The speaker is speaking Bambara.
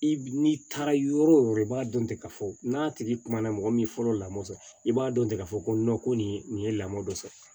I n'i taara yɔrɔ wo yɔrɔ i b'a dɔn ten k'a fɔ n'a tigi kuma na mɔgɔ min fɔlɔ la mɔɔ sɔrɔ i b'a dɔn ten ka fɔ ko ko nin nin ye lamɔ dɔ sɔrɔ